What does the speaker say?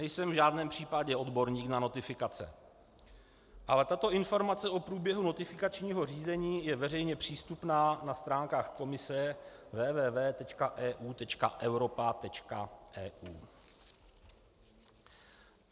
Nejsem v žádném případě odborník na notifikace, ale tato informace o průběhu notifikačního řízení je veřejně přístupná na stránkách Komise www.eu.europa.eu.